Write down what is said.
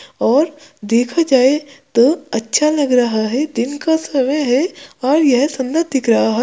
और देखा जाए तो अच्छा लग रहा है दिन का समय है और यह सुंदर दिख रहा है।